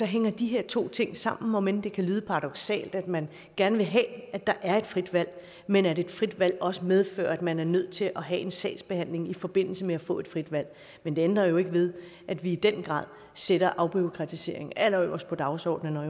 hænger de her to ting sammen om end det kan lyde paradoksalt at man gerne vil have at der er et frit valg men at et frit valg også medfører at man er nødt til at have en sagsbehandling i forbindelse med at få et frit valg men det ændrer jo ikke ved at vi i den grad sætter afbureaukratisering allerøverst på dagsordenen når